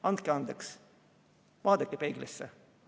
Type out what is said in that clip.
Andke andeks, vaadake peeglisse!